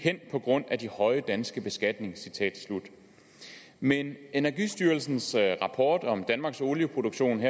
hen på grund af de høje danske beskatninger citat slut men energistyrelsens rapport om danmarks olieproduktion